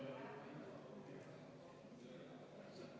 Soovite muudatusettepanekut hääletada.